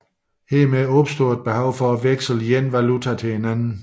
Hermed opstår et behov for at veksle én valuta til en anden